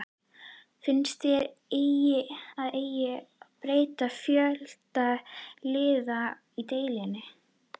Finnst þér að eigi að breyta fjölda liða í deildinni?